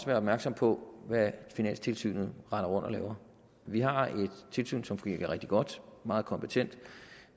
være opmærksomme på hvad finanstilsynet render rundt og laver vi har et tilsyn som fungerer rigtig godt meget kompetent